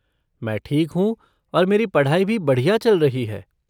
मैं ठीक हूँ और मेरी पढ़ाई भी बढ़िया चल रही है।